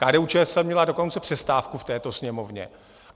KDU-ČSL měla dokonce přestávku v této Sněmovně.